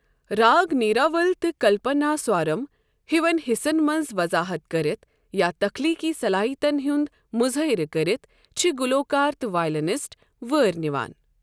راگ، نیراول تہٕ کلپناسوارم ہِوٮ۪ن حصن منٛز وضاحت کٔرِتھ یا تَخلیٖقی صلاحیتن ہُنٛد مُظٲہِرٕ کٔرتھ چھِ گلوکار تہٕ وائلنسٹ وٲرۍ نِوان۔